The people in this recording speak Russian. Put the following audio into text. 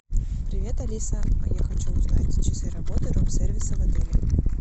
привет алиса я хочу узнать часы работы рум сервиса в отеле